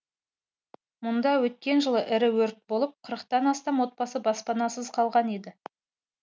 мұнда өткен жылы ірі өрт болып қырықтан астам отбасы баспанасыз қалған еді